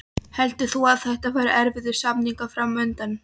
Heldur þú að þetta verði erfiðir samningar fram undan?